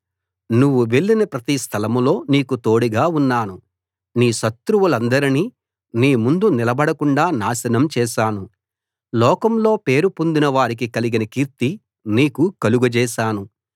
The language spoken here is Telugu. నువ్వు వెళ్ళిన ప్రతి స్థలం లో నీకు తోడుగా ఉన్నాను నీ శత్రువులందరినీ నీ ముందు నిలబడకుండా నాశనం చేశాను లోకంలో పేరు పొందిన వారికి కలిగిన కీర్తి నీకు కలుగజేశాను